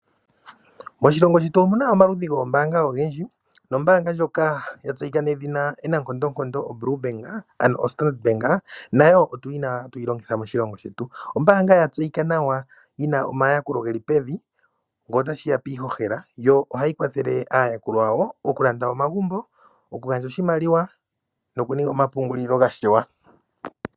Moshilongo shetu omuna omaludhi gombaanga ogendji, nombaanga ndjoka yatseyika nedhina Standard bank nayo ohayi longithwa moshilongo shetu. Ombaanga yatseyika nawa yina omayakulo geli pevi ngele otashiya piihohela yo ohayi kwathele aayakulwa yawo okulanda omagumbo, okugandja oshimaliwa nokuninga omapungulilo gashewa.